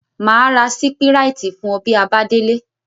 Maa ra sipiriti fun o bi a ba dele.